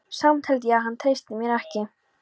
Samt held ég að hann treysti mér ekki.